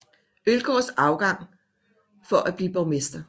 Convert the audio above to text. Øllgaards afgang for at blive borgmester